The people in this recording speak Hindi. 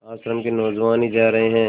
आश्रम के नौजवान ही जा रहे हैं